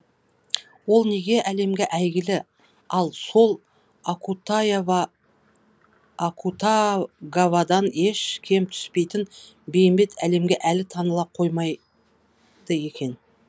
ол неге әлемге әйгілі ал сол акутагавадан еш кем түспейтін бейімбет әлемге әлі таныла қоймады екен